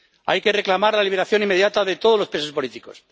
Hay que reclamar la liberación inmediata de todos los presos políticos